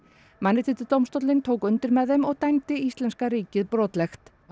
Mannréttindadómstóllinn tók undir með þeim og dæmdi íslenska ríkið brotlegt